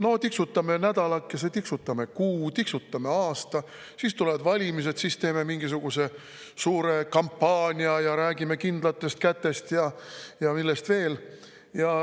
No tiksutame nädalakese, tiksutame kuu, tiksutame aasta, siis tulevad valimised, siis teeme mingisuguse suure kampaania ja räägime kindlatest kätest ja millest veel.